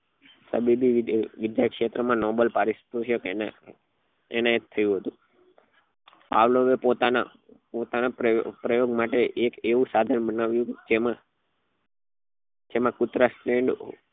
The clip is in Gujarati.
તબીબી વિદ્યા ક્ષેત્ર માં નોબલ પરોસ્તોશિક એને તૈનાત થયું હતું પાવલો એ પોતાના પોતાના પ્રયોગ માટે એક એવું સાધન બનાવ્યું જેમાં જેમાં કુતરા